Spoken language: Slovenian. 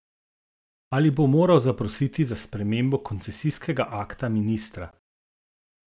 Ali bo moral zaprositi za spremembo koncesijskega akta ministra?